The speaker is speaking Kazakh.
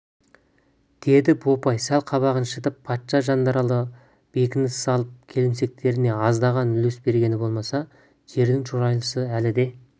деді бопай сәл қабағын шытып патша жанаралдары бекініс салып келімсектеріне аздаған үлес бергені болмаса жердің шұрайлысы әлі де